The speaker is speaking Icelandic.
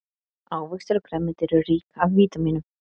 Ávextir og grænmeti eru rík af vítamínum.